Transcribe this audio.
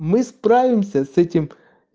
мы справимся с этим